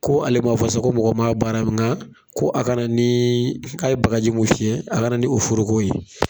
Ko ale ma fɔ sa ko mɔgɔ ma baara nka ko a kana ni k'a ye bakarji mun fiyɛ a ka ni foroko ye